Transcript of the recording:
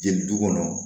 Jeli du kɔnɔ